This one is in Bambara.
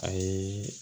A ye